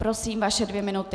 Prosím, vaše dvě minuty.